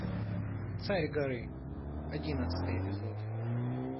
царь горы одиннадцатый эпизод